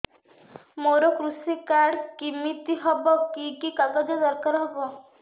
ମୋର କୃଷି କାର୍ଡ କିମିତି ହବ କି କି କାଗଜ ଦରକାର ହବ